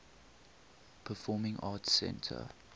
performing arts center